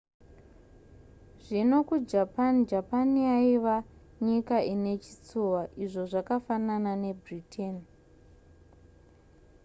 zvino kujapan japan yaiva nyika inechitsuwa izvo zvakafanana nebritain